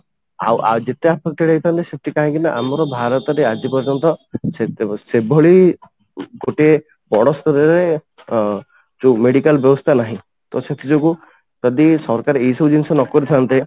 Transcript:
ଆଉ ଯେତେ affected ହେଇଥାନ୍ତେ ସେଥିପାଇଁକି ନା ଆମର ଭାରତରେ ଆଜି ପର୍ଯ୍ୟନ୍ତ ସେତେ ସେଭଳି ଗୋଟିଏ ବଡ଼ ସ୍ତରରେ ଅମ ଯୋଉ ମେଡିକାଲ ବ୍ୟବସ୍ଥା ନାହିଁ ତ ସେଥିଯୋଗୁ ଯଦି ସରକାର ଏଇ ସବୁ ଜିନିଷ ନ କରିଥାନ୍ତେ